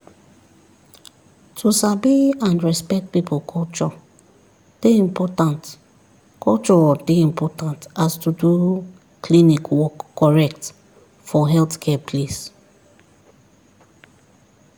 to sabi and respect people culture dey important culture dey important as to do klinik work correct for healthcare place